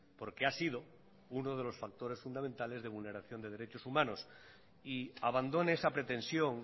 porque ha sido uno de los factores fundamentales de vulneración de derechos humanos y abandone esa pretensión